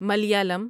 Malayalam